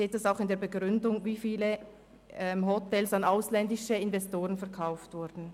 Sie sehen auch in der Begründung, wie viele Hotels an ausländische Investoren verkauft wurden.